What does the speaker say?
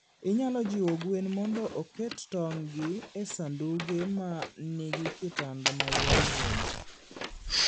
Inyalo jiwo gwen mondo oket tong'gi e sanduge ma nigi kitanda ma yomyom.